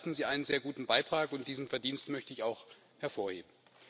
Dazu leisten Sie einen sehr guten Beitrag, und dieses Verdienst möchte ich auch hervorheben.